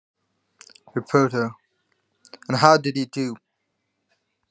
Fréttamaður: Og hvernig varð þér við?